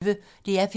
DR P1